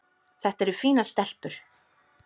Þetta eru fínar stelpur.